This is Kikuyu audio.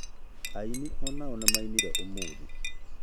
Ainĩ onao nĩ mainire ũmũthĩ